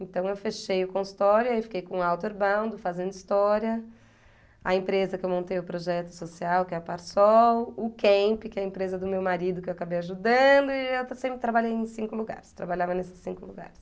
Então eu fechei o consultório, aí fiquei com o Outerbound, fazendo história, a empresa que eu montei o projeto social, que é a Parsol, o Camp, que é a empresa do meu marido que eu acabei ajudando, e eu sempre trabalhei em cinco lugares, trabalhava nesses cinco lugares.